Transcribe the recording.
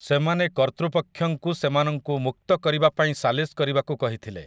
ସେମାନେ କର୍ତ୍ତୃପକ୍ଷଙ୍କୁ ସେମାନଙ୍କୁ ମୁକ୍ତ କରିବା ପାଇଁ ସାଲିସ୍ କରିବାକୁ କହିଥିଲେ ।